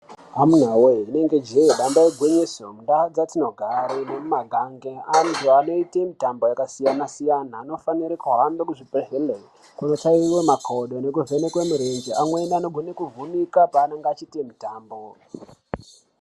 Amunawe inenge jee damba igwinyiso, ndaa dzatinogara nemumagange andu anoita mitambo yakasiyana siyana, anofanira kuhamba kuzvi gwezvembe kunotsaiwa makodo nekoovhenekwe murenje, amweni anogone kuvhunika paanenge achiita mutambo.